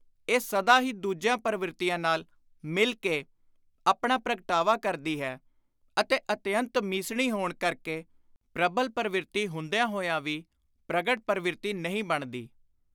ਇਹ ਸਦਾ ਹੀ ਦੁਜੀਆਂ ਪਰਵਿਰਤੀਆਂ ਨਾਲ ਮਿਲ ਕੇ ਆਪਣਾ ਪ੍ਰਗਟਾਵਾ ਕਰਦੀ ਹੈ ਅਤੇ ਅਤਿਅੰਤ ਮੀਸਣੀ ਹੋਣ ਕਰਕੇ ਪ੍ਰਬਲ ਪਰਵਿਰਤੀ ਹੁੰਦਿਆਂ ਹੋਇਆਂ ਵੀ ਪ੍ਰਗਟ ਪਰਵਿਰਤੀ ਨਹੀਂ ਬਣਦੀ।